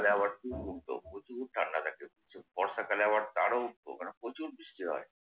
শীতকালে আবার প্রচুর ঠাণ্ডা থাকে, প্রচুর। বর্ষাকালে আবার তারও উপরে প্রচুর বৃষ্টি হয়।